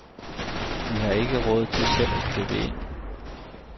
Vi har ikke råd til selv at købe ind.